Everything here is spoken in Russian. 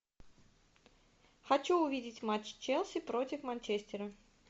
хочу увидеть матч челси против манчестера